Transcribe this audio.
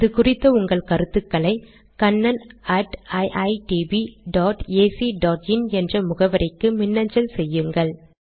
இது குறித்த உங்கள் கருத்துக்களை kannaniitbacin என்ற முகவரிக்கு மின்னஞ்சல் செய்யுங்கள்